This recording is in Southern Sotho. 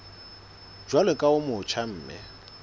jwalo ka o motjha mme